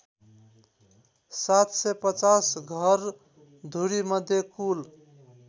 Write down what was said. ७५० घरधुरीमध्ये कुल